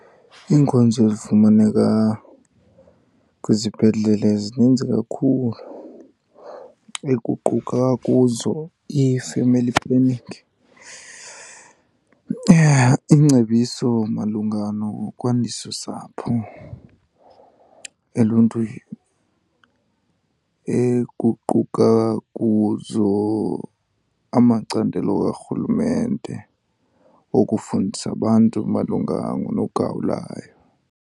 Iinkonzo ezifumaneka kwizibhedlele zininzi kakhulu, ekuquka kuzo i-family planning, iingcebiso malunga nokwandisa usapho eluntwini, ekuquka kuzo amacandelo karhulumente okufundisa abantu malunga nogawulayo.